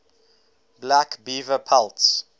black beaver pelts